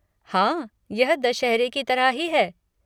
हाँ यह दशहरे की तरह ही है।